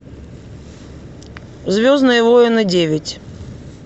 звездные войны девять